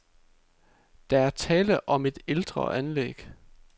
Der er tale om et ældre anlæg.